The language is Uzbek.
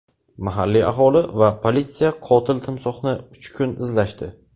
Mahalliy aholi va politsiya qotil timsohni uch kun izlashdi.